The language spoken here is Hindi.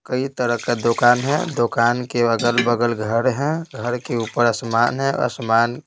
कई तरह का दुकान है दुकान के अगल-बगल घर है घर के ऊपर आसमान है आसमान--